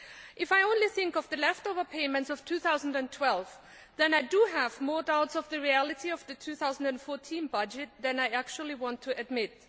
If I only think of the leftover payments of 2012, then I have more doubts about the reality of the 2014 budget than I actually want to admit.